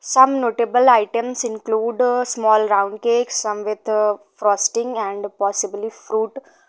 some notable items include a small round cake some with uh frosting and possibly fruit.